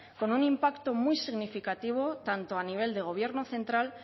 con un impacto muy significativo tanto a nivel de gobierno central